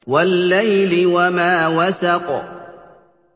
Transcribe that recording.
وَاللَّيْلِ وَمَا وَسَقَ